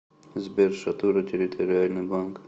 сбер шатура территориальный банк